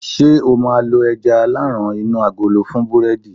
ṣe o ma lo aja alaran inu agolo fún burẹdi